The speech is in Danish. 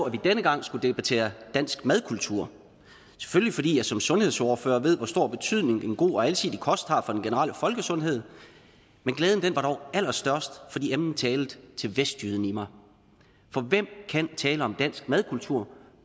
at vi denne gang skulle debattere dansk madkultur selvfølgelig fordi jeg som sundhedsordfører ved hvor stor betydning en god og alsidig kost har for den generelle folkesundhed men glæden var dog allerstørst fordi emnet talte til vestjyden i mig for hvem kan tale om dansk madkultur